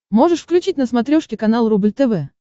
можешь включить на смотрешке канал рубль тв